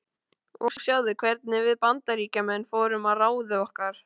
Og sjáðu hvernig við Bandaríkjamenn fórum að ráði okkar.